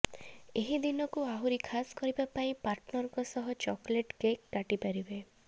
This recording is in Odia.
ଏହି ଦିନକୁ ଆହୁରି ଖାସ୍ କରିବା ପାଇଁ ପାର୍ଟନରଙ୍କ ସହ ଚକୋଲେଟ୍ କେକ୍ କାଟି ପାରିବେ